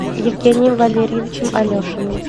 евгением валерьевичем алешиным